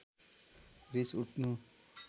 रिस उठ्नु